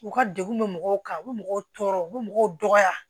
U ka degun bɛ mɔgɔw kan u bɛ mɔgɔw tɔɔrɔ u bɛ mɔgɔw dɔgɔya